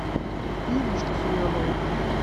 иришке семеновой